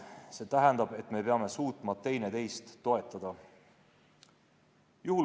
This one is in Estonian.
See tähendab, et me peame suutma üksteist toetada.